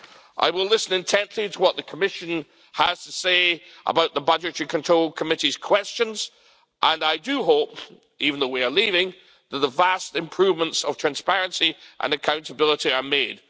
I will listen intently to what the Commission has to say about the Budgetary Control Committee's questions and I do hope that, even though we are leaving, the vast improvements of transparency and accountability are made.